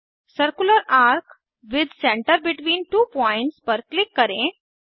circular arc with center between two points पर click करें